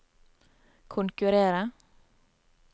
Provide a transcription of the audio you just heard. konkurrere